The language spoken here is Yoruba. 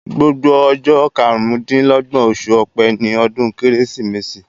Gbogbo ọjọ́ karún-dín-lọ́gbọ̀n oṣù ọ̀pẹ ni ọdún kérésìmesì